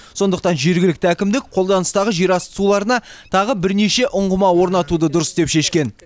сондықтан жергілікті әкімдік қолданыстағы жерасты суларына тағы бірнеше ұңғыма орнатуды дұрыс деп шешкен